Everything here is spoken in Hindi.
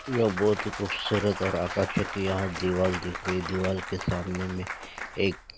य बहोत ही खूबसूरत और आकर्शितिया दीवाल दिख रही है दीवाल के सामने में एक --